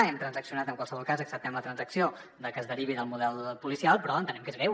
hem transaccionat en qualsevol cas acceptem la transacció de que es derivi del model policial però entenem que és greu